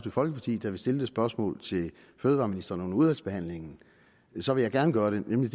folkeparti der vil stille det spørgsmål til fødevareministeren under udvalgsbehandlingen så vil jeg gerne gøre det nemlig